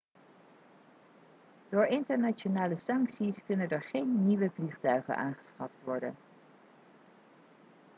door internationale sancties kunnen er geen nieuwe vliegtuigen aangeschaft worden